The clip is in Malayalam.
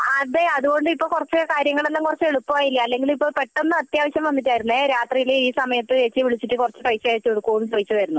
അതെ അതുകൊണ്ട് ഇപ്പൊ കാര്യങ്ങളൊക്കെ കുറച്ചു എളുപ്പായില്ലെ അല്ലെങ്കിൽ ഇപ്പൊ പെട്ടെന്ന് അത്യാവശ്യം വന്നിട്ടായിരുന്നു രാത്രിയില് ഈ സമയത്തു ഏച്ചി വിളിച്ചിട്ടു കുറച്ചു പൈസ അയച്ചു കൊടുക്കുമോ എന്ന് ചോദിച്ചതായിരുന്നു